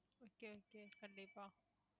okay okay கண்டிப்பா